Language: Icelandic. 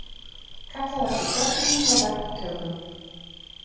Kallað eftir gögnum frá verktökum